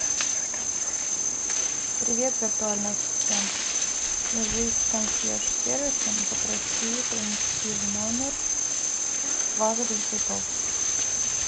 привет виртуальный ассистент свяжись с консьерж сервисом попроси принести в номер вазу для цветов